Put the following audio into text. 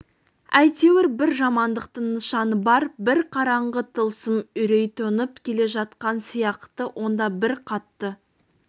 әйтеуір бір жамандықтың нышаны бар бір қараңғы тылсым үрей төніп келе жатқан сияқты онда бір қатты